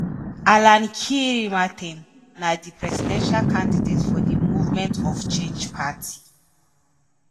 alan kyerema ten na di presidential candidate for di movement of change party.